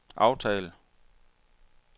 aftal